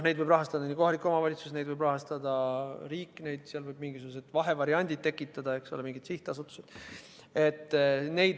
Neid võib rahastada kohalik omavalitsus ja neid võib rahastada riik, võib tekitada ka mingisugused vahevariandid, eks ole, mingid sihtasutused.